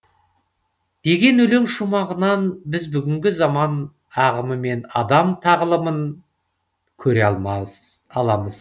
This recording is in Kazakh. деген өлең шумағынан біз бүгінгі заман ағымы мен адам тағылымын көре аламыз